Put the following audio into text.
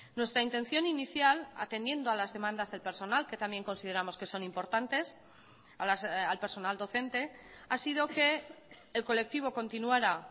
nuestra intención inicial atendiendo a las demandas del personal que también consideramos que son importantes al personal docente ha sido que el colectivo continuara